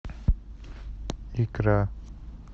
икра